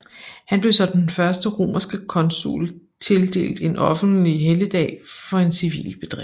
Han blev som den første romerske consul tildelt en offentlig helligdag for en civil bedrift